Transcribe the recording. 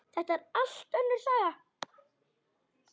Þetta er allt önnur saga!